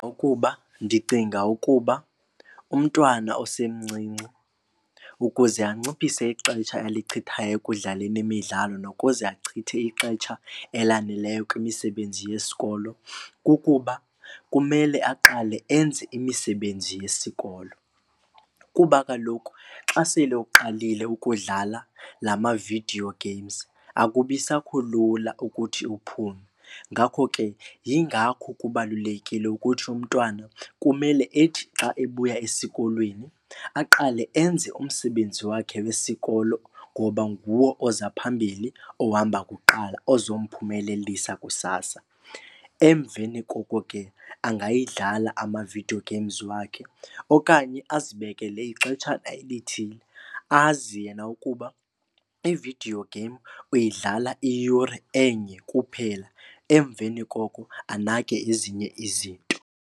Ukuba ndicinga ukuba umntwana osemncinci ukuze anciphise ixetsha alichithayo ekudlaleni imidlalo nokuze achithe ixetsha elaneleyo kwimisebenzi yesikolo. Kukuba kumele aqale enze imisebenzi yesikolo kuba kaloku xa sele uqalile ukudlala la ma-video games akubi sakho lula ukuthi uphume. Ngakho ke yingakho kubalulekile ukuthi umntwana kumele ethi xa ebuya esikolweni aqale enze umsebenzi wakhe wesikolo ngoba nguwo oza phambili ohamba kuqala, ozomphumelelisa kusasa. Emveni koko ke angayidlala ama-video games wakhe okanye azibekele ixetshana elithile azi yena ukuba ividiyo game uyidlala iyure enye kuphela emveni koko anake ezinye izinto.